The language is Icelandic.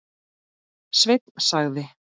Sveinn sagði.